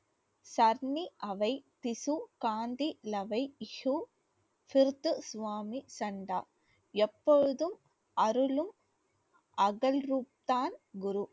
எப்பொழுதும் அருளும் அகல்ரூப் தான் குரு